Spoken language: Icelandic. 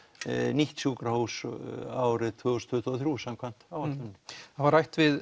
nýtt sjúkrahús árið tvö þúsund tuttugu og þrjú samkvæmt áætlunum það var rætt við